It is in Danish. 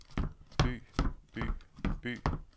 by by by